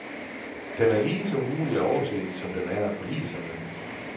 Den er lige så umulig at overse, som den er at forlige sig med.